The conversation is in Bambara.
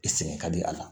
I sɛgɛn ka di a la